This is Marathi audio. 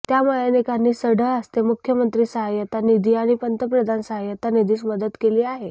त्यामुळे अनेकांनी सढळ हस्ते मुख्यमंत्री सहाय्यता निधी आणि पंतप्रधान सहाय्यता निधीस मदत केली आहे